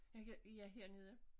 Jeg kan ja hernede